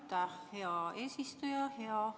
Aitäh, hea eesistuja!